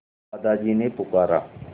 दादाजी ने पुकारा